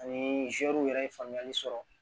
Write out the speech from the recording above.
Ani yɛrɛ ye faamuyali sɔrɔ